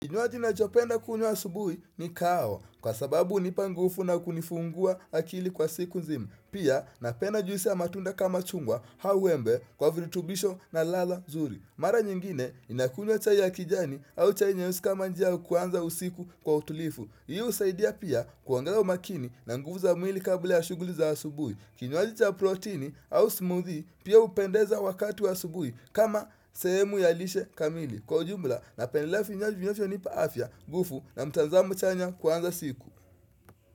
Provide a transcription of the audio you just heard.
Kinywaji ninachopenda kunywa asubui ni kahawa kwa sababu hunipa ngufu na kunifungua akili kwa siku nzima. Pia napenda juisi ya matunda kama chungwa hau embe kwa virutubisho na ladha nzuri. Mara nyingine ninakunywa chai ya kijani au chai nyeusi kama njia ya kuanza usiku kwa utulifu. Hii husaidia pia kuandaa makini na nguvu za mwili kabla ya shughuli za asubui. Kinywaji cha proteini au smoothie pia hupendeza wakati wa asubuhi kama sehemu ya lishe kamili. Kwa ujumla napendelea vinywaji vinafyonipa afya ngufu na mtanzamo chanya kuanza siku.